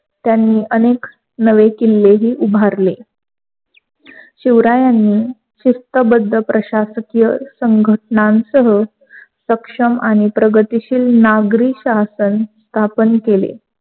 त्यांनी अनेक नवे किल्लेहि उभारले. शिवरायांनी शिस्तबद्ध प्रशकिय संघटनासह सक्षम आणि प्रगतीशील नागरी शासन स्थापन केले.